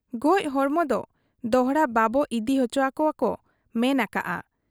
ᱜᱚᱡ ᱦᱚᱲᱢᱚ ᱫᱚ ᱫᱚᱦᱲᱟ ᱵᱟᱵᱚ ᱤᱫᱤ ᱚᱪᱚᱣᱟᱠᱚᱣᱟ ᱠᱚ ᱢᱮᱱ ᱟᱠᱟᱜ ᱟ ᱾